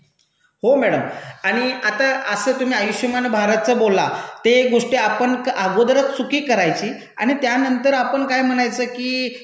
हो मैडम. आणि आता असं तुम्ही आयुष्मान भारतचं बोल्ला ते गोष्ट आपण अगोदरच चुकी करायची आणि त्यानंतर आपण काय म्हणायचं की